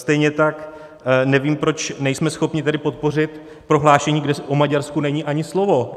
Stejně tak nevím, proč nejsme schopni tedy podpořit prohlášení, kde o Maďarsku není ani slovo.